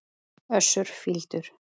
Össur fýldur.